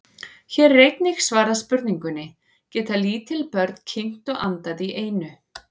Hér er einnig svarað spurningunni: Geta lítil börn kyngt og andað í einu?